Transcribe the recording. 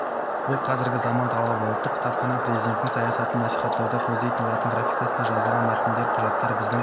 бұл қазіргі заман талабы ұлттық кітапхана президенттің саясатын насихаттауды көздейді латын графикасында жазылған мәтіндер құжаттар біздің